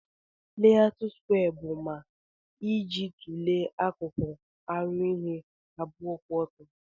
layout skwee bu ma iji tule akuku aru ihe abụọ kwụ ọtọ.